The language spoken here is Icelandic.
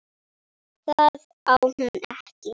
Það á hún ekki.